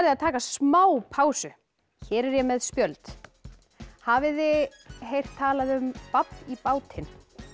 að taka smá pásu hér er ég með spjöld hafið þið heyrt talað um babb í bátinn